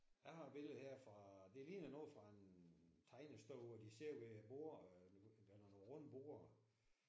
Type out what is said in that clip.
Jeg har et billede her fra det ligner noget fra en tegnestue hvor de sidder ved et bord der er nogle runde borde